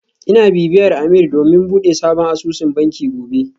Ina bibiyar Ameer domin bude sabon asusun banki gobe